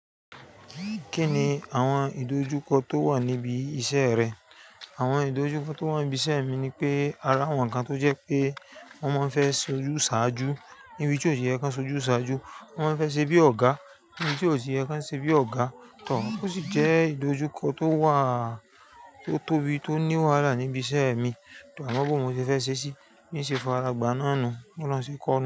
Kí ni àwọn ìdojúkọ tó wà níbi iṣẹ́ rẹ? Àwọn ìdojúkọ tó wà níbi iṣẹ́ mi ni pé, a ri àwọn nǹkan tó jẹ́ pé wí pé wọ́n máa fẹ́ sojú ṣáájú níbi tí ó ti yẹ kí wọ́n sojú ṣáájú, wọ́n máa fẹ́ ṣe bí ọ̀gá níbi tí ó ti yẹ kí wọ́n ṣe bí ọ̀gá tọ̀. Ó sì jẹ́ ìdojúkọ tó wà, tó tóbi, tó ní wàhálà níbi iṣẹ́ mi. A mo bó mo ṣe fẹ́ ṣe ṣí bí n ṣe faragbà náà nu, bó olóhun ṣe kọ́ nu.